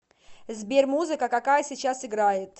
сбер музыка какая сейчас играет